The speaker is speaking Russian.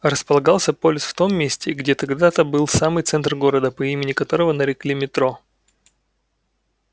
располагался полис в том месте где когда-то был самый центр города по имени которого нарекли метро